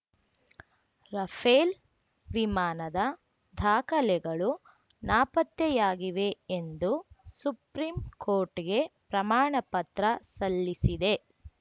Rafale ವಿಮಾನದ ದಾಖಲೆಗಳು ನಾಪತ್ತೆಯಾಗಿವೆ ಎಂದು ಸುಪ್ರೀಂ ಕೋರ್ಟ್‌ಗೆ ಪ್ರಮಾಣ ಪತ್ರ ಸಲ್ಲಿಸಿದೆ